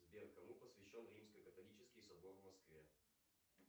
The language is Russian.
сбер кому посвящен римский католический собор в москве